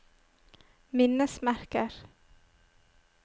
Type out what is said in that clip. minnesmerker